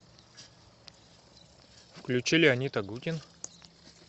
включи леонид агутин